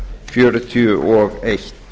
fjörutíu og eitt